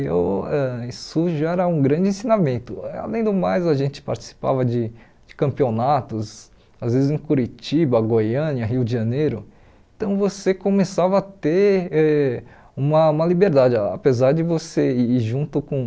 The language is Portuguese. eu ãh isso já era um grande ensinamento, além do mais a gente participava de de campeonatos, às vezes em Curitiba, Goiânia, Rio de Janeiro, então você começava a ter e uma uma liberdade, apesar de você ir junto com